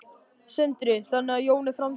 Sindri: Þannig að Jón er framtíðarmaðurinn?